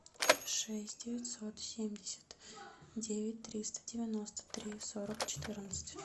шесть девятьсот семьдесят девять триста девяносто три сорок четырнадцать